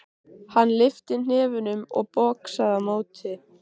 Hann lyfti hnefunum og boxaði á móti.